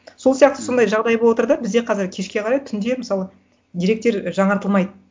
сол сияқты сондай жағдай боватыр да бізде қазір кешке қарай түнде мысалы деректер жаңартылмайды